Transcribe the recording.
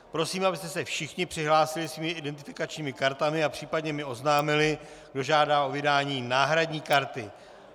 Prosím, abyste se všichni přihlásili svými identifikačními kartami a případně mi oznámili, kdo žádá o vydání náhradní karty.